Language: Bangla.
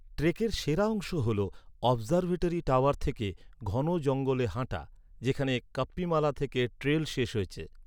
ট্রেকের সেরা অংশ হল অবজারভেটরি টাওয়ার থেকে ঘন জঙ্গলে হাঁটা যেখানে কাপ্পিমালা থেকে ট্রেইল শেষ হয়েছে।